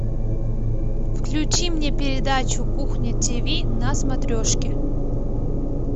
включи мне передачу кухня тиви на смотрешке